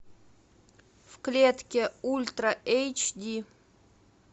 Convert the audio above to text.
в клетке ультра эйч ди